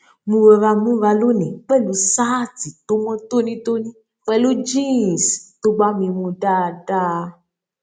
mo rọra múra lónìí pẹlú ṣáàtì tó mó tónítóní pẹlú jeans tó bá mi mu dáadáa